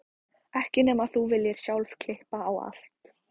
Ekki nema þú viljir sjálf klippa á allt.